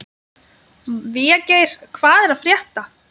Végeir, hvað er að frétta?